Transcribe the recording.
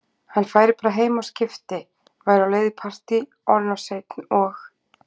Hann færi bara heim og skipti, væri á leið í partí, orðinn of seinn, og